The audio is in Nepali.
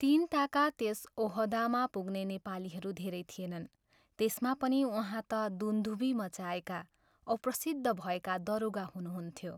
तिनताका त्यस ओहदामा पुग्ने नेपालीहरू धेरै थिएनन्, त्यसमा पनि उहाँ त दुन्दुभि मचाएका औ प्रसिद्ध भएका दरोगा हुनुहुन्थ्यो।